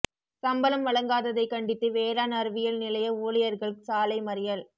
சம்பளம் வழங்காததைக் கண்டித்து வேளாண் அறிவியல் நிலைய ஊழியா்கள் சாலை மறியல்